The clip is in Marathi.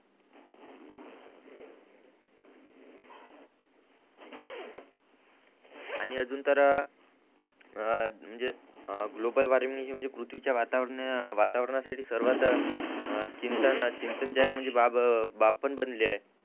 आणि अजून तर अ म्हणजे ग्लोबल वॉर्मिंग हि म्हणजे पृथ्वीच्या वातावरना साठी सर्वात चिंतन चिंतनदायक म्हणजे बाब पण बनली आहे